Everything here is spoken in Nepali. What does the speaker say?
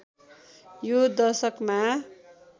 यो दशकमा